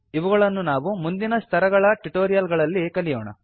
ಇವುಗಳನ್ನು ನಾವು ಮುಂದಿನ ಸ್ತರಗಳ ಟ್ಯುಟೋರಿಯಲ್ ಗಳಲ್ಲಿ ಕಲಿಯೋಣ